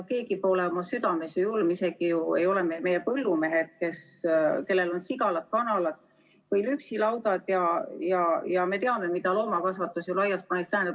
Keegi pole ju oma südames julm, isegi mitte meie põllumehed, kellel on sigalad, kanalad või lüpsilaudad, ja me ju teame, mida loomakasvatus laias plaanis tähendab.